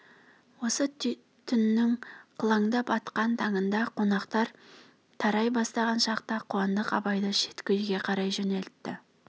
осы түннің қылаңдап атқан таңында қонақтар тарай бастаған шақта қуандық абайды шеткі үйге қарай жөнелтті